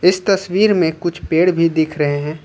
इस तस्वीर में कुछ पेड़ भी दिख रहे हैं।